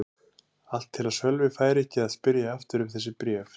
Allt til að Sölvi færi ekki að spyrja aftur um þessi bréf.